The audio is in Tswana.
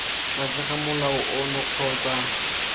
tlase ga molao ono kgotsa